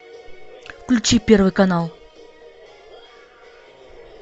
включи первый канал